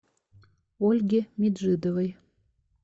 ольги меджидовой